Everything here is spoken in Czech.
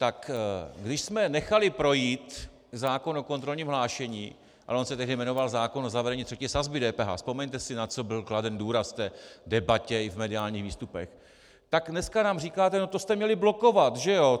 Tak když jsme nechali projít zákon o kontrolním hlášení, ale on se tehdy jmenoval zákon o zavedení třetí sazby DPH, vzpomeňte si, na co byl kladen důraz v té debatě i v mediálních výstupech, tak dneska nám říkáte: No to jste měli blokovat, že jo.